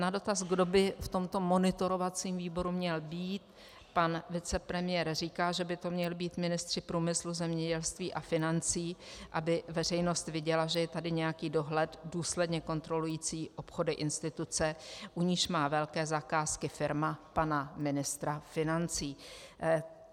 Na dotaz, kdo by v tomto monitorovacím výboru měl být, pan vicepremiér říká, že by to měli být ministři průmyslu, zemědělství a financí, aby veřejnost viděla, že je tady nějaký dohled důsledně kontrolující obchody instituce, u níž má velké zakázky firma pana ministra financí.